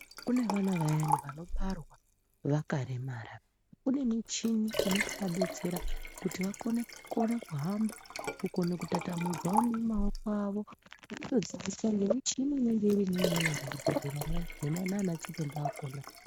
Kune vana vayani vanobarwa vakaremara kune michini inozovadetsera kuti vakone kuhamba nekutatamudzawo maoko awo nekutodzidziswa nemichini inenge irimo muzvibhedhleramwo nana chiremba.